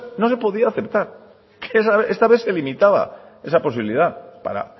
no se podía aceptar que esta vez se limitaba esa posibilidad para